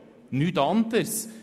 nichts anderes!